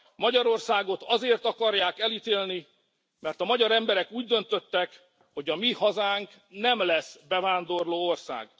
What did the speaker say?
Magyarországot azért akarják elítélni, mert a magyar emberek úgy döntöttek, hogy a mi hazánk nem lesz bevándorlóország.